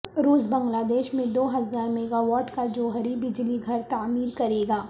روس بنگلہ دیش میں دو ہزار میگاواٹ کا جوہری بجلی گھر تعمیر کرے گا